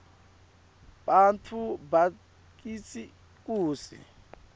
bantfu bakitsi kutsi